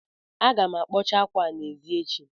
Aga m akpọcha ákwâ a n'èzí echi